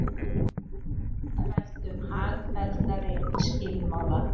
Rætt um hagfelldari skilmála